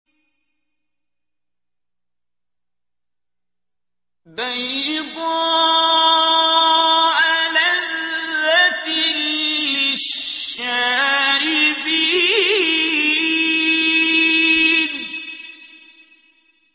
بَيْضَاءَ لَذَّةٍ لِّلشَّارِبِينَ